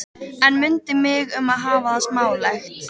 En mundu mig um að hafa það smálegt.